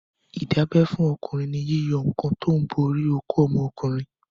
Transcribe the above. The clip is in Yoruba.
Ìdábẹ́ fọ́kùnrin ni yíyọ awọ kan tó ń bo orí okó ọmọkùnrin.